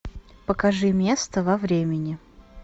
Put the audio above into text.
покажи место во времени